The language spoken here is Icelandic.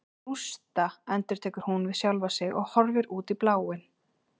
Rústa, endurtekur hún við sjálfa sig og horfir út í bláinn.